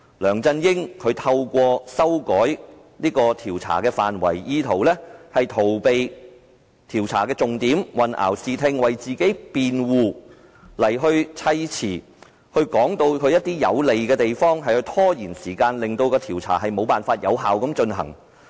梁振英透過修改調查範圍，意圖逃避調查的重點，混淆視聽，為自己辯護，堆砌對他有利的說辭，以拖延時間，令調查無法有效進行。